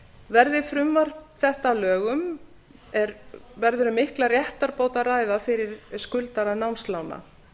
verði frumvarp þetta að lögum verður um mikla réttarbót að ræða fyrir skuldara námslána